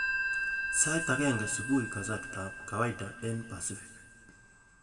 Sait agenge subui kasarta ab kawaida eng Pasifiki